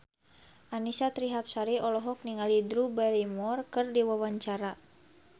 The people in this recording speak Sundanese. Annisa Trihapsari olohok ningali Drew Barrymore keur diwawancara